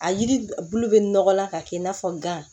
A yiri bulu bɛ nɔgɔ la ka kɛ i n'a fɔ gan